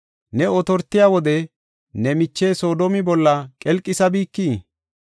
Ne otortiya wode ne miche Soodomi bolla qelqisabikii?